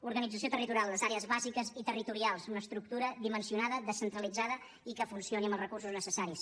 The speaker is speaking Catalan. organització territorial les àrees bàsiques i territorials una estructura dimensionada descentralitzada i que funcioni amb els recursos necessaris